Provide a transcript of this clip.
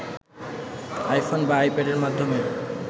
iPhone বা আইপ্যাডের মাধ্যমে